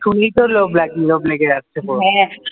শুনেই তো লোভ লাগলো লোভ লেগে যাচ্ছে।